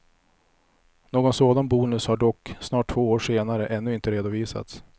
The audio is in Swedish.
Någon sådan bonus har dock, snart två år senare, ännu inte redovisats.